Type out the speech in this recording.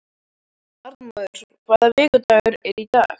Arnmóður, hvaða vikudagur er í dag?